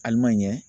Ali man ɲɛ